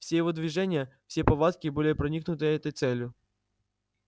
все его движения все повадки были проникнуты этой целью